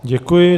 Děkuji.